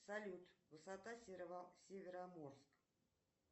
салют высота североморск